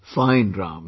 Fine Ram